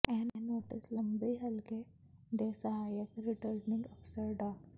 ਇਹ ਨੋਟਿਸ ਲੰਬੀ ਹਲਕੇ ਦੇ ਸਹਾਇਕ ਰਿਟਰਨਿੰਗ ਅਫ਼ਸਰ ਡਾ